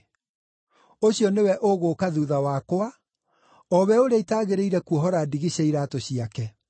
Ũcio nĩwe ũgũũka thuutha wakwa, o we ũrĩa itaagĩrĩire kuohora ndigi cia iraatũ ciake.”